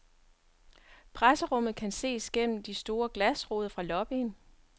Presserummet kan ses gennem gennem de store glasruder fra lobbyen.